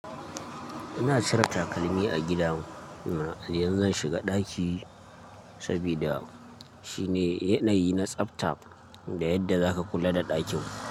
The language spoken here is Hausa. Ina cire takalmi a gida na idan zan shiga ɗaki sabida shine yanayi na tsafta da yadda zaka kula da ɗakin.